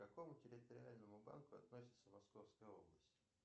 к какому территориальному банку относится московская область